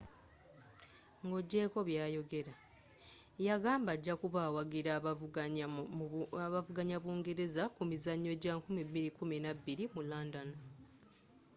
nga ogyeko byayogera yagamba ajakuba awagira abavuganya bungereza ku mizanyo gya 2012 mu london